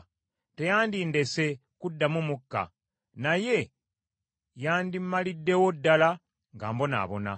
Teyandindese kuddamu mukka naye yandimmaliddewo ddala nga mbonaabona.